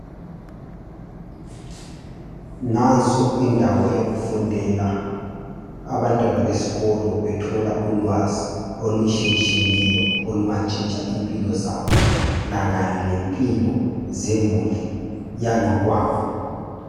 Nanso indawo yokufundela abantwana besikolo bethola ulwazi olutshiyetshiyeneyo olungatshintsha impilo zabo lakanye lempilo zemuli yangakwabo.